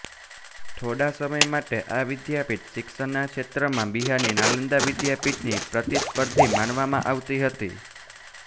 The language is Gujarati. થોડા સમય માટે આ વિદ્યાપીઠ શિક્ષણના ક્ષેત્રમાં બિહારની નાલંદા વિદ્યાપીઠની પ્રતિસ્પર્ધી માનવામાં આવતી હતી